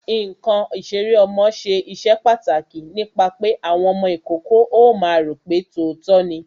Ǹkan ìṣeré ọmọ ṣe iṣẹ́ pàtàkì nípa pé àwọn ọmọ ìkókó ó máa ro pe tòótọ́ ni